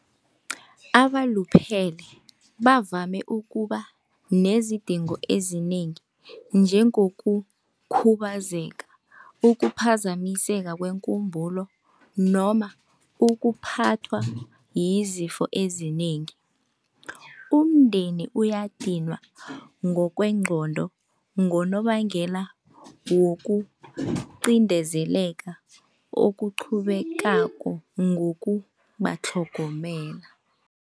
Abaluphele bavame ukuba nezidingo ezinengi njengokukhubazeka, ukuphazamiseka kwekumbulo noma ukuphathwa yizipho ezinengi. Umndeni uyadinwa ngokwengqondo ngonobangela wokucindezeleka okuqhubekako ngokubatlhogomela.